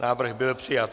Návrh byl přijat.